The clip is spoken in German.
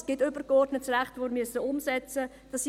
Es gibt übergeordnetes Recht, das wir umsetzen müssen.